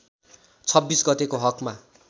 २६ गतेको हकमा